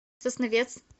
сосновец